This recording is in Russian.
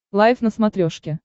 лайф на смотрешке